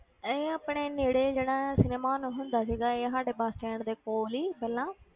ਇਹ ਆਪਣੇ ਨੇੜੇ ਜਿਹੜਾ ਸਿਨੇਮਾ ਹੁੰਦਾ ਸੀਗਾ ਇਹ ਸਾਡੇ bus stand ਦੇ ਕੋਲ ਹੀ ਪਹਿਲਾਂ,